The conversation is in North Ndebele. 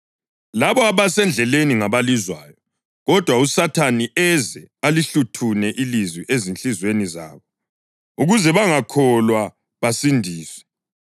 Labo abasendleleni ngabalizwayo, kodwa uSathane eze alihluthune ilizwi ezinhliziyweni zabo, ukuze bangakholwa basindiswe.